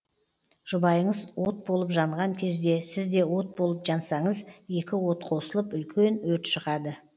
жұбайыңыз от болып жанған кезде сіз де от болып жансаңыз екі от қосылып үлкен өрт шығады